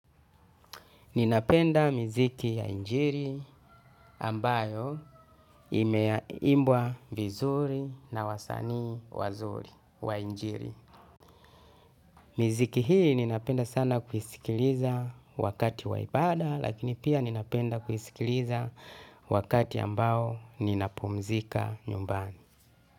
Ninapenda miziki ya injili ambayo imeimbwa vizuri na wasanii wa injili. Miziki hii ninapenda sana kuisikiliza wakati wa ibada, lakini pia ninapenda kuisikiliza wakati ambao ninapopumzika nyumbani.